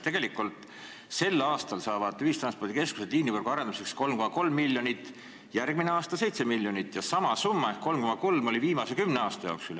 Tegelikult saavad ühistranspordikeskused sel aastal liinivõrgu arendamiseks 3,3 miljonit, järgmisel aastal 7 miljonit ja sama summa ehk 3,3 oli ka viimase kümne aasta jooksul.